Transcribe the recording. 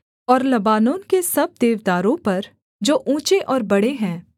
और लबानोन के सब देवदारों पर जो ऊँचे और बड़े हैं